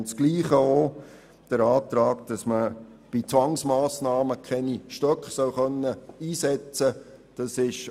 Dasselbe gilt auch beim Antrag, wonach bei Zwangsmassnahmen keine Stöcke eingesetzt werden dürfen.